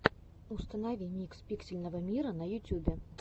установи микс пиксельного мира на ютюбе